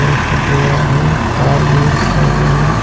तार भी रखा हुआ है।